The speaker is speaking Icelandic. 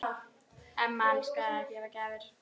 Amma elskaði að gefa gjafir.